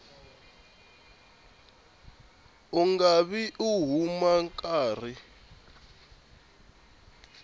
u nga vi u karhi